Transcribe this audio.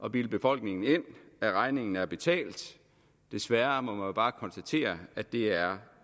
at bilde befolkningen ind at regningen er betalt desværre må man jo bare konstatere at det er